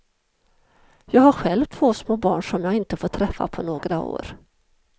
Jag har själv två små barn som jag inte får träffa på några år.